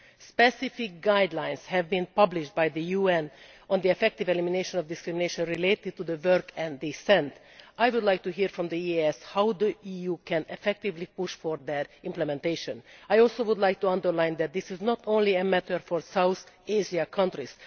Specific guidelines have been published by the UN on the effective elimination of discrimination related to work and descent. I would like to hear from the EEAS how the EU can effectively push for that implementation. I would also like to underline that this is not only a matter for south Asian countries.